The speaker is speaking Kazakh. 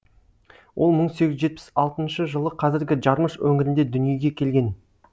ол мың сегіз жүз жетпіс алтыншы жылы қазіргі жармыш өңірінде дүниеге келген